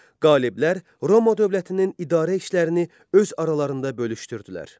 Qaliblər Roma dövlətinin idarə işlərini öz aralarında bölüşdürdülər.